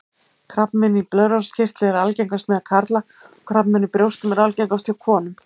Krabbamein í blöðruhálskirtli er algengast meðal karla og krabbamein í brjóstum er algengast hjá konum.